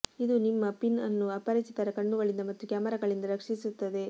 ಇದು ನಿಮ್ಮ ಪಿನ್ ಅನ್ನು ಅಪರಿಚಿತರ ಕಣ್ಣುಗಳಿಂದ ಮತ್ತು ಕ್ಯಾಮರಾಗಳಿಂದ ರಕ್ಷಿಸುತ್ತದೆ